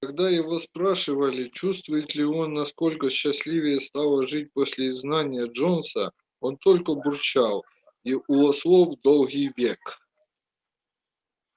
когда его спрашивали чувствует ли он насколько счастливее стало жить после изгнания джонса он только бурчал и у ослов долгий век